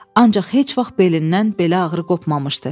Ancaq heç vaxt belindən belə ağrı qopmamışdı.